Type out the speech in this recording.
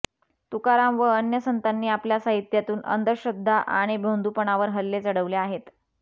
तुकाराम व अन्य संतांनी आपल्या साहित्यातून अंधश्रद्धा आणि भोंदूपणावर हल्ले चढवले आहेत